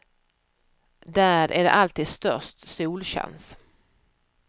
Där är det alltid störst solchans.